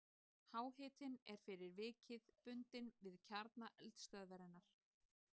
Háhitinn er fyrir vikið bundinn við kjarna eldstöðvarinnar.